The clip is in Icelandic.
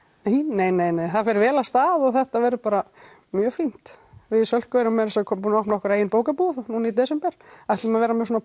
nei nei nei það fer vel af stað og þetta verður bara mjög fínt við í Sölku erum meira að segja búnar að opna okkar eigin bókabúð núna í desember og ætlum að vera með svona